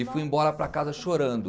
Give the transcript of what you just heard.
E fui embora para casa chorando.